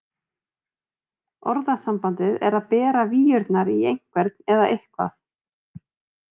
Orðasambandið er að bera víurnar í einhvern eða eitthvað.